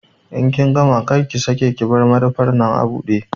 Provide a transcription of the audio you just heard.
In kin gama, kar ki sake ki bar madafan nan abude!